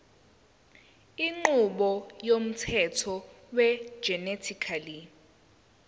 inqubo yomthetho wegenetically